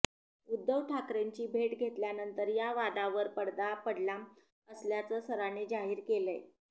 उद्धव ठाकरेंची भेट घेतल्यानंतर या वादावर पडदा पडला असल्याचं सरांनी जाहीर केलंय